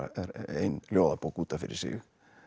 ein ljóðabók út af fyrir sig